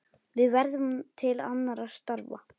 Við hverfum til annarra starfa.